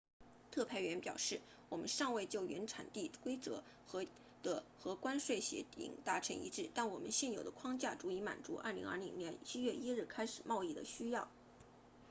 特派员表示我们尚未就原产地规则和关税协定达成一致但我们现有的框架足以满足2020年7月1日开始贸易的需要